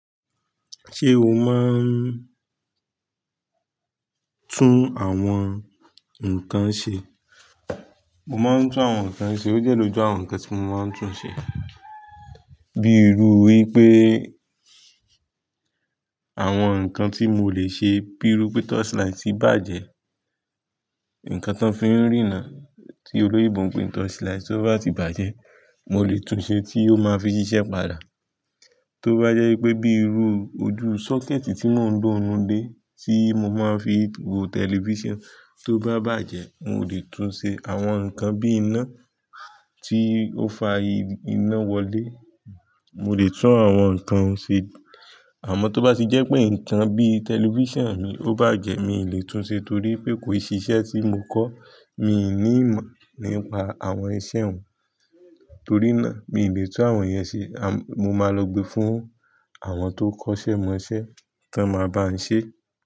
Ṣé o máa ń tún àwọn nǹkan ṣe? Mo máa ń tún àwọn nǹkan ṣe, ó dẹ́ lójú àwọn nǹkan tí mo máa ń tún ṣe. Bíi irú wípé àwọn nǹkan tí mo lè ṣe bíi rú pé touch light bá jẹ́ nǹkan tí wọ́n fi ń rína, tí olóyinbo n pe n touch light tó bá ti bàjẹ́, mo lè tún ṣe tí ó máa fi ṣiṣẹ́ padà. Tó bá jẹ́ wípé bíi irú ojú socket tí mò ń lo ninu ilé tí mo máa ń fi wo television tó bá bàjẹ́, mò lè tún ṣe. Àwọn nǹkan bíi iná tí ó fa iná wọlé, mo lè tún àwọn nǹkan hun ṣe. Àmọ́ tó bá ti jẹ́ pé nǹkan bíi television mi ó bá jẹ́ mi ò lè tún ṣe torí pé kò i sí iṣẹ́ tí mo kọ́, mi ò ní ìmọ̀ nípa àwọn iṣẹ́ un. Torí náà mi ò lè tún àwọn yẹn ṣe. Mo máa lọ gbe fún àwọn tó kọ́ṣẹ́ mọṣẹ́ tàn máa bá n ṣe.